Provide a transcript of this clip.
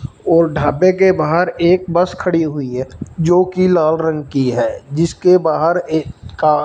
और ढाबे के बाहर एक बस खड़ी हुई है जो की लाल रंग की है जिसके बाहर एक का--